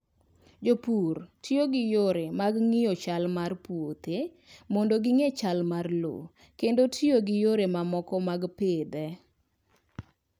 Jopur tiyo gi yore mag ng'iyo chal mar puothe mondo ging'e chal mar lowo kendo tiyo gi yore mamoko mag pidhe.